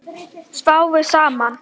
Sváfu saman?